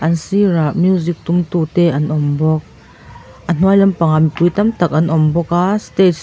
a sirah music tumtu te an awm bawk a hnuai lampangah mipui tam tak an awm bawk a stage --